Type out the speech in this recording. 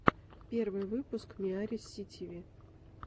первый выпуск миарисситиви